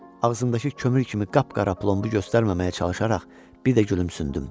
Ağzımdakı kömür kimi qapqara plomubu göstərməməyə çalışaraq bir də gülümsündüm.